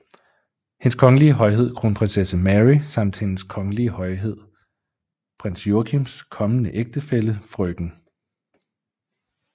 Hendes Kongelige Højhed Kronprinsesse Mary samt Hendes Kongelige Højhed Prins Joachims kommende ægtefælle frk